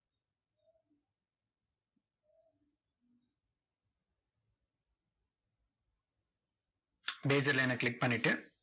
bezier line ன click பண்ணிட்டு,